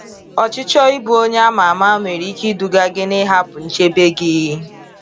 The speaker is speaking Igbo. Ọchichọ ịbụ onye ama ama nwere ike iduga gị n’ịhapụ nchebe gị.